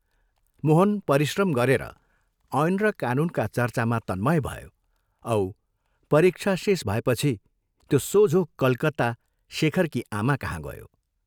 मोहन परिश्रम गरेर ऐन र कानूनका चर्चामा तन्मय भयो औ परीक्षा शेष भएपछि त्यो सोझो कलकत्ता शेखरकी आमाकहाँ गयो ।